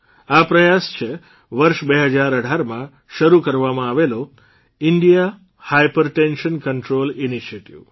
આ પ્રયાસ છે વર્ષ ૨૦૧૮માં શરૂ કરવામાં આવેલો ઇન્ડિયા હાયપરટેન્શન કન્ટ્રોલ ઇનિશિએટિવ